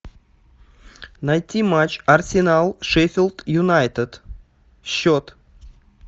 найти матч арсенал шеффилд юнайтед счет